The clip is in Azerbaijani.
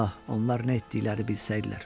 Ah, onlar nə etdikləri bilsəydilər.